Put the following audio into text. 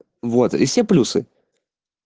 вот и все плюсы